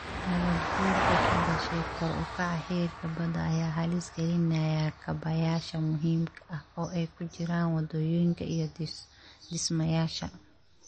Nabaadguurka ka dhashay kor u kaca heerka badda ayaa halis gelinaya kaabayaasha muhiimka ah, oo ay ku jiraan waddooyinka iyo dhismayaasha. mti